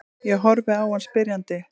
Ég horfi á hann spyrjandi.